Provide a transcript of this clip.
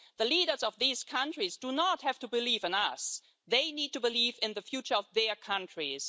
The leaders of these countries do not have to believe in us, they need to believe in the future of their countries.